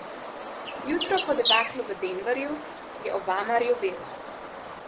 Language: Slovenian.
Jutro po debaklu v Denverju je Obama rjovel.